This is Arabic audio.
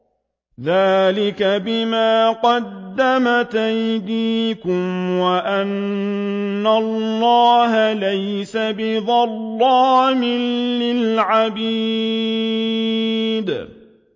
ذَٰلِكَ بِمَا قَدَّمَتْ أَيْدِيكُمْ وَأَنَّ اللَّهَ لَيْسَ بِظَلَّامٍ لِّلْعَبِيدِ